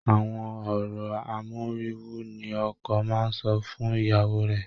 Àwọn ọ̀rọ̀ amóríwú ni ọkọ máa ń sọ fún ìyàwó rẹ̀